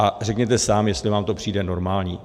A řekněte sám, jestli vám to přijde normální.